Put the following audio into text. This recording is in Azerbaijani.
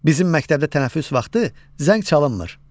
Bizim məktəbdə tənəffüs vaxtı zəng çalınmır.